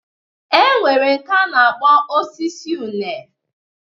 E nwere nke a na-akpọ osisi une.